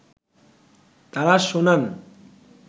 তারা শোনান